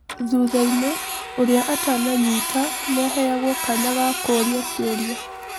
Thuthainĩ, ũrĩa atananyita nĩaheyagwo kanya ga kũũria kĩũria.